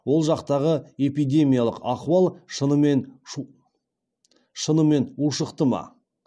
ол жақтағы эпидемиялық ахуал шынымен ушықты ма